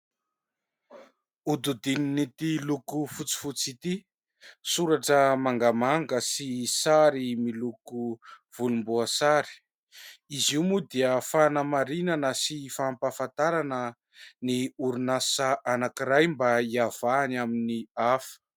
Hodidinin'ity loko fotsifotsy ity, soratra mangamanga sy sary miloko volomboasary, izy io moa dia fanamarinana sy fampahafantarana ny orinasa anankiray mba hiavahany amin'ny hafa.